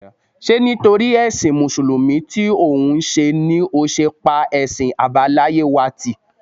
Ṣé nítorí ẹṣin Mùsùlùmí tí òun ṣe ni ó ṣe pa ẹ̀sìn àbáláyé wa tì?